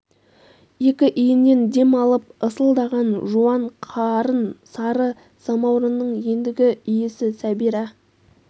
екі иіннен дем алып ысылдаған жуан қарын сары самаурынның ендігі иесі сәбира